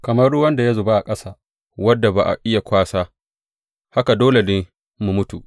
Kamar ruwan da ya zuba a ƙasa, wanda ba a iya kwasa, haka dole mu mutu.